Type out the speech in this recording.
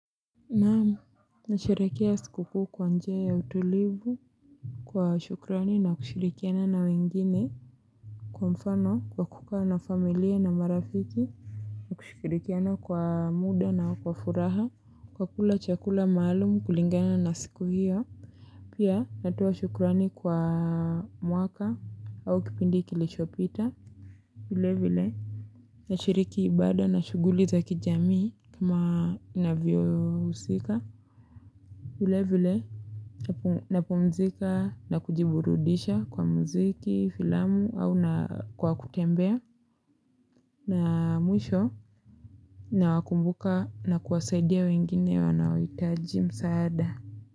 Naam, nasherekea skukuu kwa njia ya utulivu, kwa shukrani na kushirikiana na wengine. Kwa mfano kwa kukaa na familia na marafiki, na kushirikiana kwa muda na wa furaha, kwa kula chakula maalum, kulingana na siku hiyo, pia, natoa shukrani kwa mwaka, au kipindi kilishopita. Vile vile, nashiriki ibada na shughuli za kijamii, kama inavyo husika. Vile vile, napumzika na kujiburudisha kwa muziki, filamu au kwa kutembea. Na, mwisho na wakumbuka na kuwasaidia wengine wanaoitaji msaada.